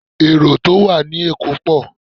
Èrò tó wà ní èkó pọ̀